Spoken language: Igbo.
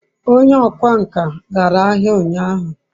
onye okwá nkà gara ahia unyahu